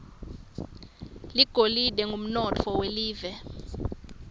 ligolide ngumnotfo welive